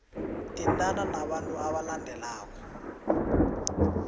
thintana nabantu abalandelako